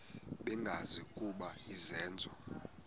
bengazi ukuba izenzo